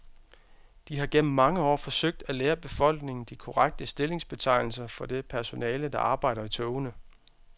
De har gennem mange år forsøgt at lære befolkningen de korrekte stillingsbetegnelser for det personale, der arbejder i togene.